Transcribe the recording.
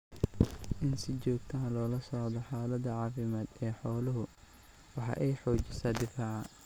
In si joogta ah loola socdo xaalada caafimaad ee xooluhu waxa ay xoojisaa difaaca.